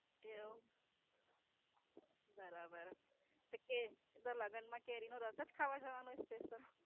કેવો બરાબર. તે કે એ તો લગન માં કેરી નો રસ જ ખાવા જાવાનો છે? એ તો.